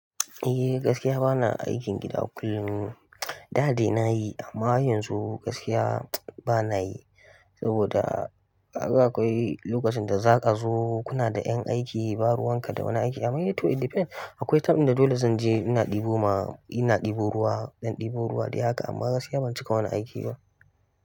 Eh, gaskiya bana aikin gida kullum. Da dai nayi, amma yanzu gaskiya bana yi saboda. Akwai lokacin da za ka zo kuna da ƴan aiki ba ruwan ka da wani aiki. Amma dai toh, it depends akwai time da dole zan je ina ɗebo ma, ina ɗebo ruwa, ɗan ɗebo ruwa da haka. Amma gaskiya, ban cika wani aiki ba.